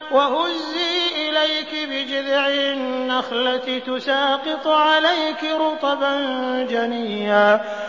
وَهُزِّي إِلَيْكِ بِجِذْعِ النَّخْلَةِ تُسَاقِطْ عَلَيْكِ رُطَبًا جَنِيًّا